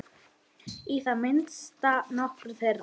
Í það minnsta nokkrum þeirra.